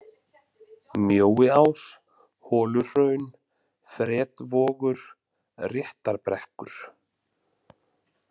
Mjóiás, Holuhraun, Fretvogur, Réttarbrekkur